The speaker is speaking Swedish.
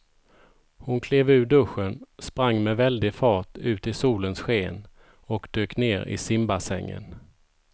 Hon klev ur duschen, sprang med väldig fart ut i solens sken och dök ner i simbassängen.